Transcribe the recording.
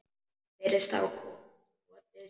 Virðist hafa skotið sig.